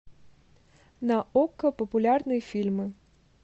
на окко популярные фильмы